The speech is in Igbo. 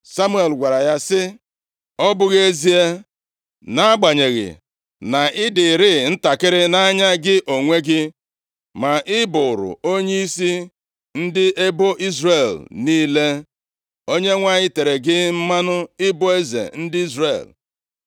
Samuel gwara ya sị, “Ọ bụghị ezie nʼagbanyeghị na ị dịrịị ntakịrị nʼanya gị onwe gị, ma ị bụụrụ onyeisi ndị ebo Izrel niile? Onyenwe anyị tere gị mmanụ ibu eze ndị Izrel.